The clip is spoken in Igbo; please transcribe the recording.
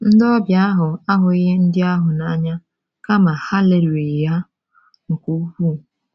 Ndị obịa ahụ ahụghị ndị ahụ n’anya kama ha lelịrị ha nke ukwuu.